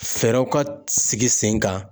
Fɛɛrɛw ka sigi sen kan.